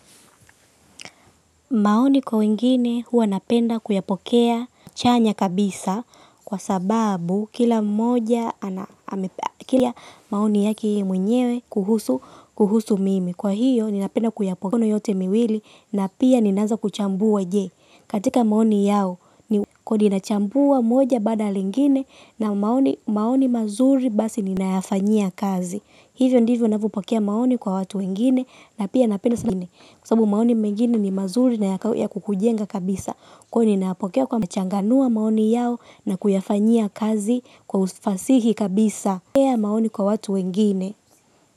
Maoni kwa wengine huwa napenda kuyapokea chanya kabisa kwa sababu kila moja ana amepekia maoni yake yeye mwenyewe kuhusu, kuhusu mimi. Kwa hiyo ninapenda kuyapokea mikono yote miwili na pia ninaanza kuchambua je. Katika maoni yao ni kodi nachambua moja baada lingine na maoni mazuri basi ninayafanyia kazi. Hivyo ndivyo navyopokea maoni kwa watu wengine na pia napenda sana kwa sababu maoni mengine ni mazuri na ya kukujenga kabisa. Kwani nayapokea kwa machanganua maoni yao na kuyafanyia kazi kwa ufasihi kabisa. Kwa ya maoni kwa watu wengine.